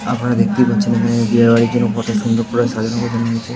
আপনারা দেখতেই পাচ্ছেন এখানে বিয়ে বাড়ির জন্য কত সুন্দর করে সাজানো --